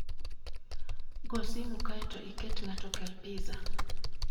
Go simo kae to iket ng'ato okel pizza